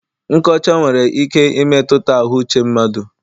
Nkọcha nwere ike imetụta ahụ uche mmadụ.